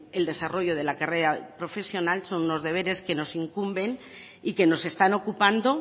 el desarrollo de la carrera profesional son los deberes que nos incumben y que nos están ocupando